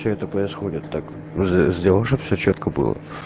что это происходит так сделай чтобы всё чётко было